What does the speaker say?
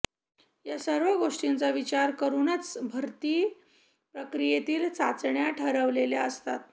या सर्व गोष्टींचा विचार करूनच भरती प्रक्रियेतील चाचण्या ठरवलेल्या असतात